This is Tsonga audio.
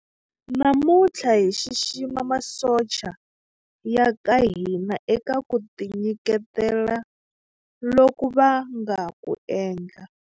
Namuntlha hi xixima masocha ya ka hina eka ku tinyiketela loku va nga ku endla.